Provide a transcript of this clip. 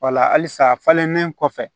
Wala halisa a falennen kɔfɛ